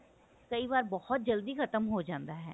ਕਈ ਵਾਰ ਬਹੁਤ ਜਲਦੀ ਖਤਮ ਹੋ ਜਾਂਦਾ ਹੈ